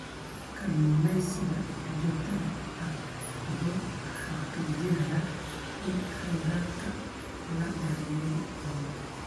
Kalluumeysiga joogtada ah wuxuu xaqiijinayaa in kheyraadka la daryeeli doono.